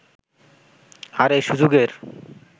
আর এই সুযোগের